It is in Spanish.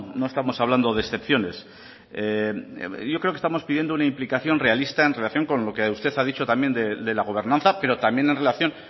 no estamos hablando de excepciones yo creo que estamos pidiendo una implicación realista en relación con lo que usted ha dicho también de la gobernanza pero también en relación